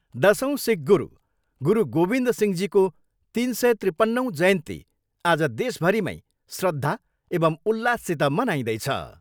दसौँ सिख गुरु, गुरु गोविद सिंहजीको तिन सय त्रिपन्नौँ जयन्ती आज देशभरि मै श्रद्धा एवम् उल्लाससित मनाइँदैछ।